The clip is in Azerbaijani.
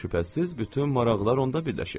Şübhəsiz, bütün maraqlar onda birləşib.